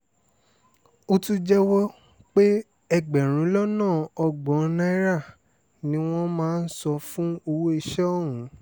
ó tún jẹ́wọ́ pé ẹgbẹ̀rún lọ́nà ọgbọ̀n náírà ni wọ́n máa ń san fún owó iṣẹ́ òun